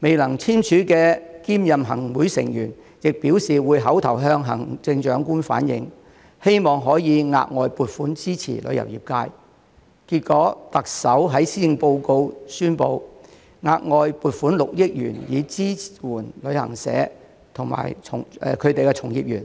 未能聯署的兼任行會成員亦表示會口頭向行政長官反映，希望可以額外撥款支持旅遊業界，結果特首在施政報告宣布，額外撥款6億元以支援旅行社及其從業員。